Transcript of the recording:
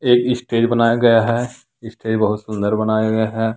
एक स्टेज बनाया गया है स्टेज बहुत सुंदर बनाया गया है।